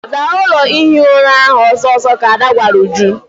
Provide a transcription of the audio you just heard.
Zaa ụlọ ihi ura ahụ ọsọ ọsọ! ka Ada gwara Uju.